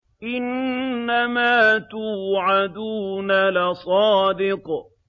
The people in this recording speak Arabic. إِنَّمَا تُوعَدُونَ لَصَادِقٌ